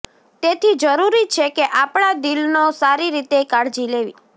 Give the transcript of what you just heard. તેથી જરૂરી છે કે આપણા દિલનો સારી રીતે કાળજી લેવી